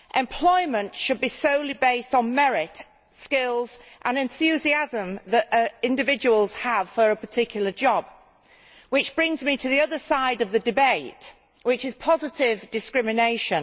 Employment should be solely based on merit, skills and enthusiasm that individuals have for a particular job which brings me to the other side of the debate, which is positive discrimination.